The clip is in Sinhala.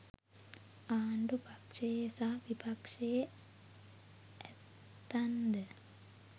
ආණ්ඩු පක්ෂයේ සහ විපක්ෂයේ ඇත්තන්ද